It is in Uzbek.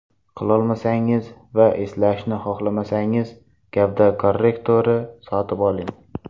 Qilolmasangiz va eslashni xohlamasangiz gavda korrektori sotib oling.